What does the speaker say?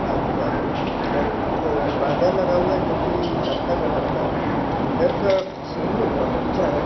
आजूबाजू और एक परदा लगा हुआ है जोकि कथे कलर का है अंदर का सीन भी बहुत अच्छा है।